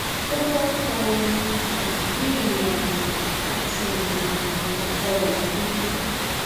o ko fa omi um ni irinajo ati irinajo ọkọ ofurufu